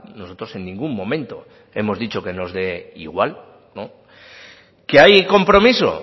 nosotros en ningún momento hemos dicho que nos dé igual que hay compromiso